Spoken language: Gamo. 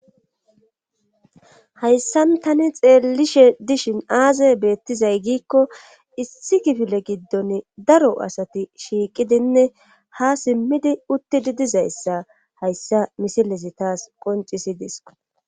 Hayssan tani xeellishe dishin aaza beettizay giikko issi gifile giddon daro asati shiiqidinne ha simmidi uttidi dizayssa hayssa misilesi taas qoncisidis.